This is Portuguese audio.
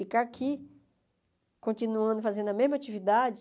Ficar aqui, continuando fazendo a mesma atividade?